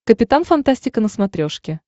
капитан фантастика на смотрешке